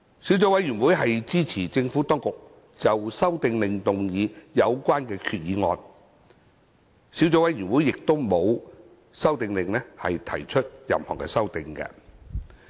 小組委員會支持政府當局就《修訂令》動議有關決議案。小組委員會沒有就《修訂令》提出任何修訂。